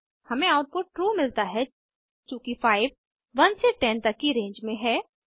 हमें output true मिलता है चूँकि 5 1 से 10 तक की रेंज में है